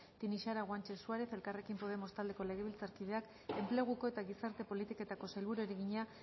tinixara guanche suárez elkarrekin podemos taldeko legebiltzarkideak enpleguko eta gizarte politiketako sailburuari egina